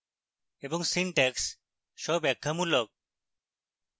এবং syntax স্বব্যাখ্যামূলক